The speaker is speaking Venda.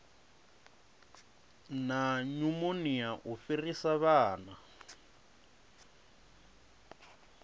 na nyumonia u fhirisa vhana